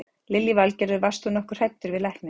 Lillý Valgerður: Varst þú nokkuð hræddur við lækninn?